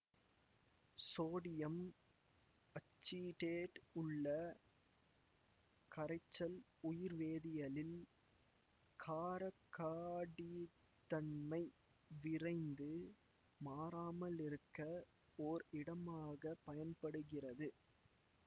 sodium acetate உள்ள கரைச்சல் உயிர்வேதியியலில் காரக்காடித்தன்மை விரைந்து மாறாமல் இருக்க ஓர் இடமாக பயன்படுகின்றது